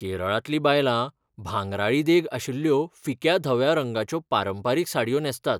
केरळांतलीं बायलां भांगराळी देग आशिल्ल्यो फिक्या धव्या रंगाच्यो पारंपारीक साडयो न्हेसतात.